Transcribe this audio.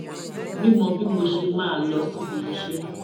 mímọ bí mo ṣe máa lọ síbi iṣé